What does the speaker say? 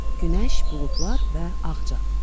Günəş, buludlar və ağca.